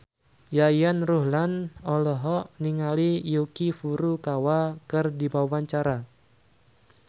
Yayan Ruhlan olohok ningali Yuki Furukawa keur diwawancara